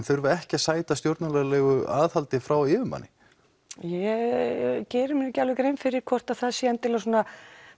þurfið ekki að sæta stjórnunarlegu aðhaldi frá yfirmanni ég geri mér ekki alveg grein fyrir því hvort það sé endilega svona